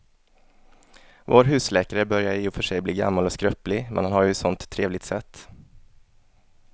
Vår husläkare börjar i och för sig bli gammal och skröplig, men han har ju ett sådant trevligt sätt!